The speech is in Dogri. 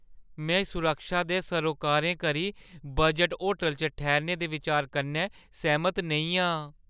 में सुरक्षा दे सोरकारें करी बजट होटलै च ठैह्‌रने दे बिचार कन्नै सैह्‌मत नेईं आं।